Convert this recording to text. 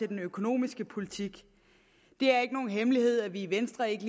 den økonomiske politik det er ikke nogen hemmelighed at vi i venstre ikke